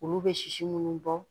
Olu bɛ sisi minnu bɔ